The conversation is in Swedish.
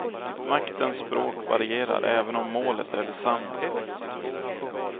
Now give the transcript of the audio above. Maktens språk varierar även om målet är detsamma.